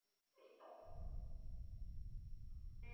Ég fékk þá bara að láni.